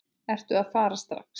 Ertu að fara strax aftur?